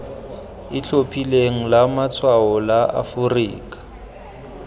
itlhophileng la matshwao la aforika